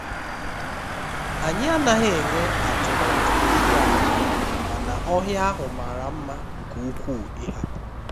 anyị anaghị enwe atụmatụ ịga njem mana ọhịa ahụ mara mma nke ukwuu ịhapu